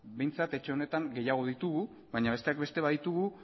ba beno behintzat etxe honetan gehiago ditugu baina besteak beste baditugu